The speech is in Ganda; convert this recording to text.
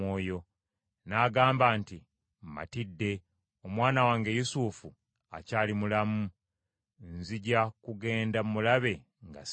n’agamba nti, “Mmatidde, omwana wange Yusufu akyali mulamu. Nzija kugenda mulabe nga sinnafa.”